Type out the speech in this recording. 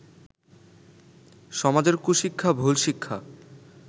সমাজের কুশিক্ষা, ভুল শিক্ষা